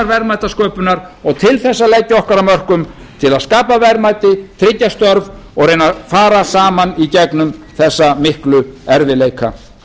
verðmætasköpunar og til þess að leggja okkar af mörkum til að skapa verðmæti tryggja störf og reyna að fara saman í gegnum þessa miklu erfiðleika